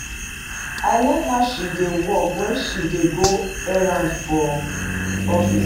I like how she dey walk wen she dey go errand for office.